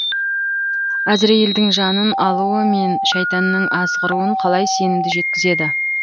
әзірейілдің жанын алуы мен шайтанның азғыруын қалай сенімді жеткізеді